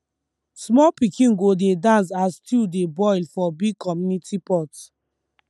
small pikin go dey dance as stew dey boil for big community pot